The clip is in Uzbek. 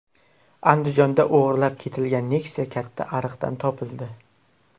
Andijonda o‘g‘irlab ketilgan Nexia katta ariqdan topildi .